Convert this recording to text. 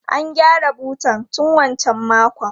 An gyara butan tun wancan makon.